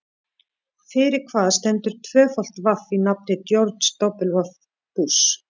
Fyrir hvað stendur tvöfalt vaff í nafni George W Bush?